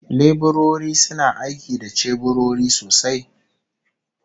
Leburori suna aiki da ceburori sosai